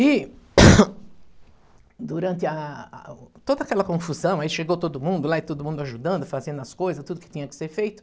E durante a toda aquela confusão, aí chegou todo mundo lá e todo mundo ajudando, fazendo as coisas, tudo que tinha que ser feito.